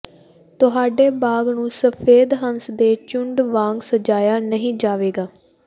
ਤੁਹਾਡੇ ਬਾਗ ਨੂੰ ਸਫੈਦ ਹੰਸ ਦੇ ਝੁੰਡ ਵਾਂਗ ਸਜਾਇਆ ਨਹੀਂ ਜਾਵੇਗਾ